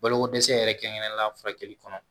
Balokodɛsɛ yɛrɛ kɛrɛnkɛrɛnnen la furakɛli kɔnɔ